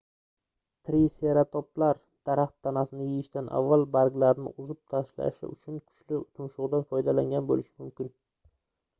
triseratoplar daraxt tanasini yeyishdan avval barglarini uzib tashlash uchun kuchli tumshugʻidan foydalangan boʻlishi mumkin